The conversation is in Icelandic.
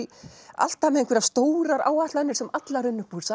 alltaf með einhverjar stórar áætlanir sem allar